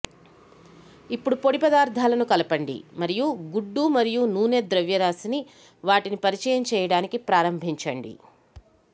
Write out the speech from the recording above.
ఇప్పుడు పొడి పదార్ధాలను కలపండి మరియు గుడ్డు మరియు నూనె ద్రవ్యరాశిని వాటిని పరిచయం చేయడానికి ప్రారంభించండి